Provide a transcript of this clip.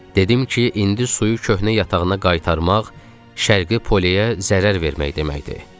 Dedim ki, indi suyu köhnə yatağına qaytarmaq şərqi poleyə zərər vermək deməkdir.